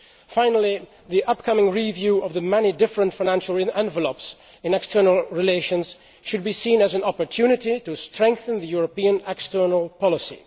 Finally, the upcoming review of the many different financial envelopes in external relations should be seen as an opportunity to strengthen the European external policy.